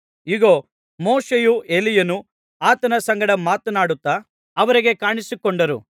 ಇಗೋ ಮೋಶೆಯೂ ಎಲೀಯನೂ ಆತನ ಸಂಗಡ ಮಾತನಾಡುತ್ತಾ ಅವರಿಗೆ ಕಾಣಿಸಿಕೊಂಡರು